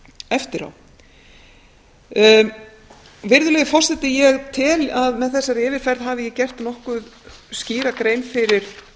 eftir á virðulegi forseti ég tel að með þessari yfirferð hafi ég gert nokkuð skýra grein fyrir